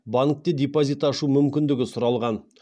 банкте депозит ашу мүмкіндігі сұралған